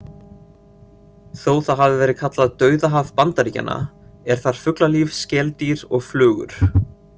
Þó það hafi verið kallað „Dauðahaf Bandaríkjanna“ er þar fuglalíf, skeldýr og flugur.